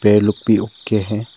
ये लुक भी ओके है।